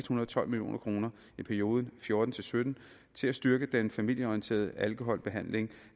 hundrede og tolv million kroner i perioden og fjorten til sytten til at styrke den familieorienterede alkoholbehandling